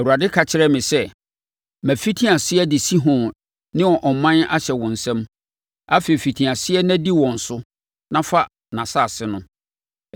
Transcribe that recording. Awurade ka kyerɛɛ me sɛ, “Mafiti aseɛ de Sihon ne ne ɔman ahyɛ wo nsam. Afei, fiti aseɛ na di wɔn so, na fa nʼasase no.”